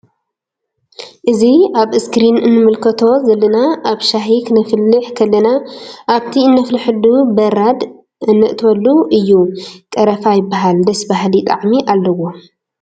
እዚ አብ እስክሪን እንምልከቶ ዘለና አብ ሻሂ ክነፍልሕ ከለና አብቲ እንፍልሐሉ በራድ እነእትወሉ እዩ::ቀረፋ ይበሃል ደስ በሃሊ ጣዕሚ አለዎ ::